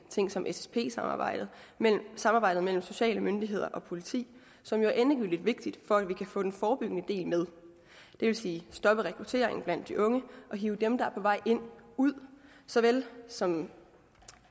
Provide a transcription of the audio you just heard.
ting som ssp samarbejdet samarbejdet mellem sociale myndigheder og politi som jo er endegyldigt vigtigt for at vi kan få den forebyggende del med det vil sige stoppe rekrutteringen blandt de unge og hive dem der er på vej ind ud såvel som